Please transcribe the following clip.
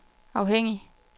afhængig